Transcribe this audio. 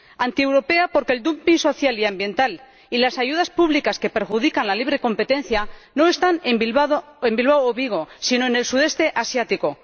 antieuropea porque el dumping social y ambiental y las ayudas públicas que perjudican la libre competencia no están en Bilbao o en Vigo, sino en el sudeste asiático.